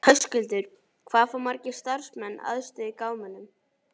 Höskuldur, hvað fá margir starfsmenn aðstöðu í gámunum?